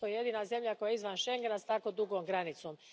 To je jedina zemlja koja je izvan Schengena s tako dugom granicom.